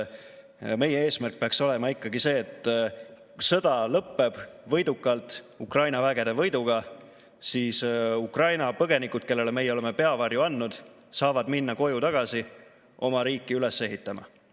Meie eesmärk peaks olema ikkagi see, et kui sõda lõpeb võidukalt, Ukraina vägede võiduga, siis Ukraina põgenikud, kellele meie oleme peavarju andnud, saavad minna koju tagasi oma riiki üles ehitama.